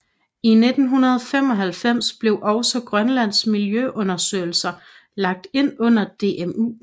I 1995 blev også Grønlands Miljøundersøgelser lagt ind under DMU